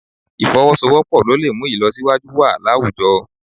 Ì̀fọwọ́sowọ́pọ̀ ló lè mú ìlọsíwájú wà láwùjọ